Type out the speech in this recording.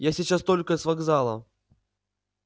я сейчас только с вокзала